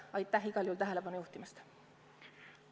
Aitäh igal juhul tähelepanu juhtimast!